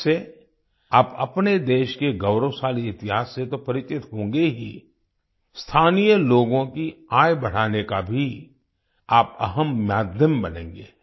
इससे आप अपने देश के गौरवशाली इतिहास से तो परिचित होंगे ही स्थानीय लोगों की आय बढ़ाने का भी आप अहम माध्यम बनेंगे